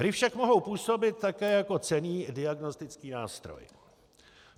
Hry však mohou působit také jako cenný diagnostický nástroj.